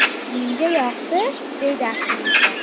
Menga yoqdi”, deydi aktrisa.